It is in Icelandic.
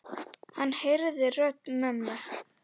Hann heyrði rödd mömmu.